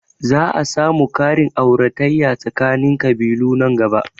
Za a samu ƙarin auratayya tsakanin ƙabilu nan gaba